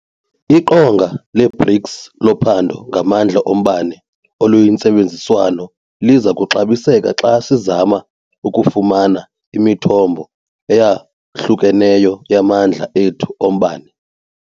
IQonga le-BRICS loPhando ngaMandla oMbane oluyiNtsebenziswano liza kuxabiseka xa sizama ukufumana imithombo eyahlukeneyo yamandla ethu ombane.